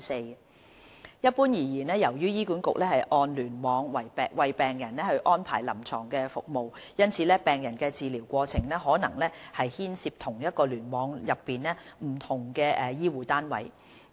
二一般而言，由於醫管局按聯網為病人安排臨床服務，因此病人的治療過程可能牽涉同一聯網內不同的醫護單位。